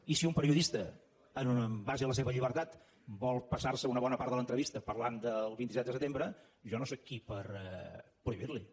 i si un periodista amb base en la seva llibertat vol passar se una bona part de l’entrevista parlant del vint set de setembre jo no sóc qui per prohibir li ho